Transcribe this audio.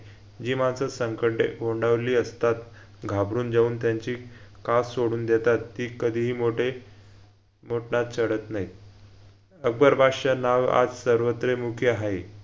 जी माणसं संकटे ओंढावली असतात घाबरून जाऊन त्यांची कात सोडून देतात ती कधीही मोठे मोटनात चढत नाईत अकबर बादशाह नाव आज सर्वत्र मुखी हाय